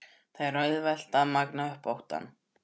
Það er auðvelt að magna upp óttann.